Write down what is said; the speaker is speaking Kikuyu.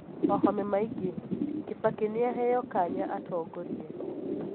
wahome maingĩ: kĩbakĩ nĩaheo kanya atongorie